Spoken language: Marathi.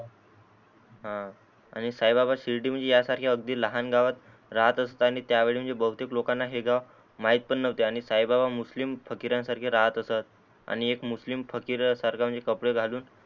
हा आणि साई बाबा शिर्डी म्हणजे या सारख्या अगदी लहान गावात राहत असतानी त्यावळी म्हणजे बहुतेक लोकाना हे गाव महित पण नव्हते आणि साई बाबा मुस्लिम फकिरान सारख राहत असत आणि एक मुस्लिम फकिरा सारख म्हणजे कपडे घालून